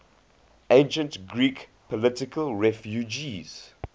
ancient greek political refugees